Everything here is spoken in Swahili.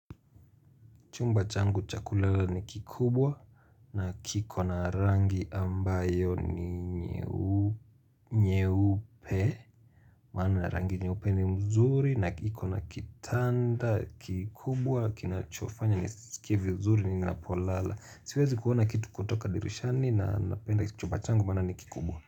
Chumba changu cha kulala ni kikubwa na kiko na rangi ambayo ni nyeu nyeupe Maana rangi nyeupe ni mzuri na kiko na kitanda kikubwa kina chofanya ni sikie vizuri nina polala Siwezi kuona kitu kutoka dirishani na napenda chumba changu maana ni kikubwa.